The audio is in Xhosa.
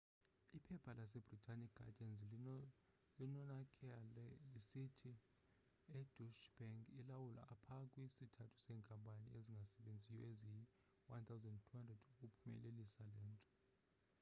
iphepha lasebritane iguardian linonakale lisithi ideutsche bank ilawule pha kwi sthathu seenkampani ezingasebenziyo eziyi 1200 ukuphumelelisa lento